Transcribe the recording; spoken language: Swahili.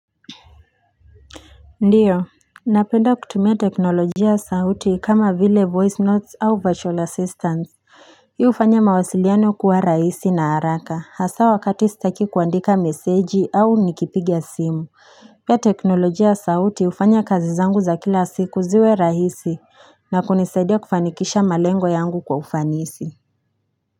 Ndiyo napenda kutumia teknolojia sauti kama vile voice notes au virtual assistants hii hufanya mawasiliano kuwa rahisi na haraka hasa wakati sitaki kuandika meseji au nikipigia simu pia teknolojia ya sauti hufanya kazi zangu za kila siku ziwe rahisi na kunisaidia kufanikisha malengo yangu kwa ufanisi Si.